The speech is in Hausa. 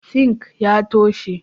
"Sink" ya taushe.